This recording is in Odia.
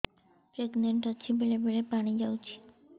ପ୍ରେଗନାଂଟ ଅଛି ବେଳେ ବେଳେ ପାଣି ଯାଉଛି